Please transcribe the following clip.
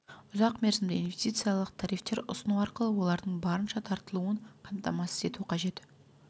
ұзақ мерзімді инвестициялық тарифтер ұсыну арқылы олардың барынша тартылуын қамтамасыз ету қажет